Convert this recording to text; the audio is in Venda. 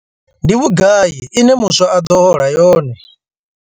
Ndi vhugai ine muswa a ḓo hola yone?